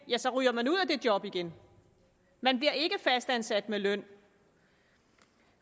ja så ryger man ud af det job igen man bliver ikke fastansat med løn